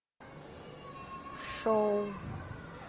шоу